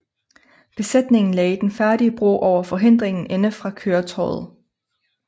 Besætningen lagde den færdige bro over forhindringen indefra køretøjet